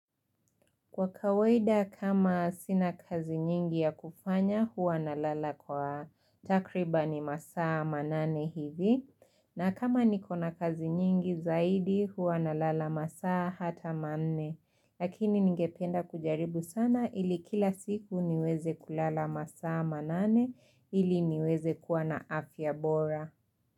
Kwa kawaida kama sina kazi nyingi ya kufanya huwa nalala kwa takribani masaa manane hivi na kama nikona kazi nyingi zaidi huwa nalala masaa hata manne. Lakini ningependa kujaribu sana ili kila siku niweze kulala masaa manane ili niweze kuwa na afya bora.